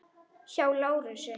Hjá Lárusi.